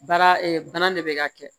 Baara bana de bɛ ka kɛ